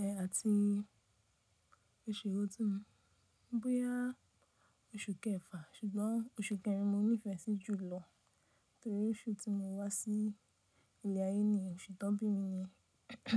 Ẹ àti oṣù ewo tun ni búyá oṣù kẹfà, ṣùgbọ́n oṣù kẹrin mo nífẹ̀ẹ́ sí jùlọ nítorí oṣù tí mo wá sí ilẹ̀ ayé ni oṣù tó bí mi ni.